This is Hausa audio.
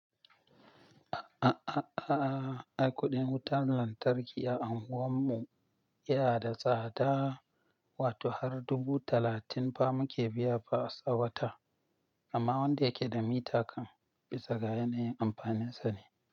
A'a, a'a, a'a, ai kuɗin wutan lantarki a anguwan mu yana da tsada, wato har dubu talatin pa muke biya fa sa wata. Amma wanda yake da mita kan bisa ga yanayin amfaninsa ne.